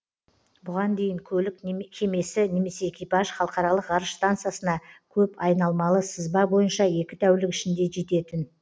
бұған дейін көлік кемесі немесе экипаж халықаралық ғарыш стансасына көп айналмалы сызба бойынша екі тәулік ішінде жететін